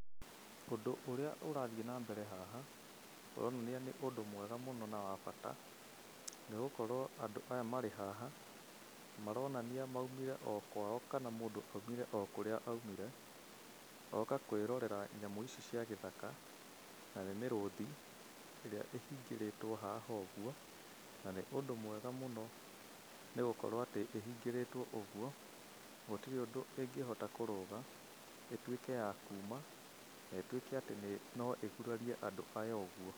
Ũndũ ũrĩa ũrathiĩ na mbere haha, ũronania nĩ ũndũ mwega mũno na wa bata, nĩgũkorwo andũ aya marĩ haha, maronania maumire o kwao kana mũndũ aumire o kũrĩa aumire, oka kwĩrorera nyamũ ici cia gĩthaka, na nĩ mĩrũthi ĩrĩa ihingĩrĩtwo haha ũguo. Na nĩ ũndũ mwega mũno nĩgũkorwo atĩ ihingĩrĩtwo ũguo, gũtirĩ ũndũ ĩngĩhota kũrũga, ĩtuĩke ya kuma, na ĩtuĩke atĩ no ĩgurarie andũ aya ũguo.